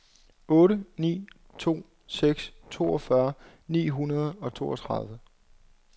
otte ni to seks toogfyrre ni hundrede og toogtredive